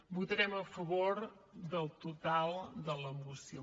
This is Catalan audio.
votarem a favor del total de la moció